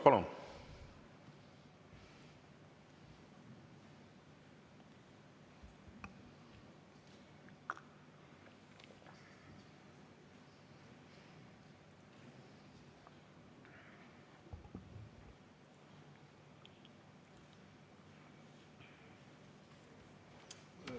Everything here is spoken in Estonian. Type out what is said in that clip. Palun!